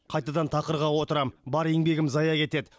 қайтадан тақырға отырамын бар еңбегім зая кетеді